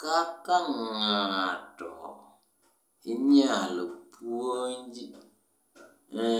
Kaka ng'ato inyalo puonj ni